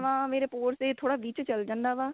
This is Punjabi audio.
ਮੇਰੇ pores ਦੇ ਥੋੜਾ ਵਿੱਚ ਚੱਲ ਜਾਂਦਾ ਵਾ